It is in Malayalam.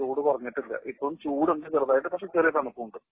ചൂട് കുറഞ്ഞിട്ടില്ല. ഇപ്പോ ചൂടുണ്ട് ചെറുതായിട്ട് പക്ഷേ ചെറിയ തണുപ്പുമുണ്ട്.